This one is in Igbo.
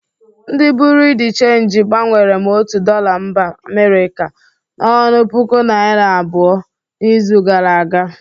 Ndị bụreau de chenji gbanwere m otu dọla mba Amirika n'ọnụ puku naira abụo n'izu gara aga.